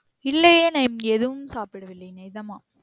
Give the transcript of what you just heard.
இல்லையே நா இப்ம் எதுவும் சாப்பிடவில்லை நிஜமா